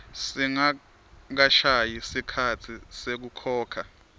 singakashayi sikhatsi sekukhokha